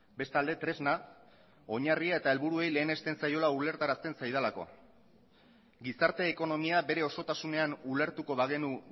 bestalde tresna oinarria eta helburuei lehenesten zaiola ulertarazten zaidalako gizarte ekonomia bere osotasunean ulertuko bagenu